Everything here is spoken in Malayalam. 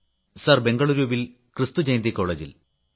സർ ബംഗളൂരുവിൽ ക്രിസ്തുജയന്തി കോളജിൽ